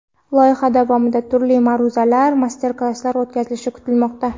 Loyiha davomida turli ma’ruzalar, master-klasslar o‘tkazilishi kutilmoqda.